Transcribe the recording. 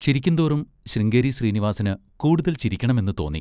ചിരിക്കുംതോറും ശൃംഗേരി ശ്രീനിവാസിന് കൂടുതൽ ചിരിക്കണമെന്ന് തോന്നി.